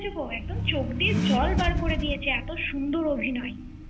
। একদম চোখ দিয়ে জল বার করে দিয়েছে এত সুন্দর অভিনয়।